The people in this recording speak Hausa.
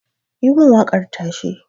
yi mun wakar tashe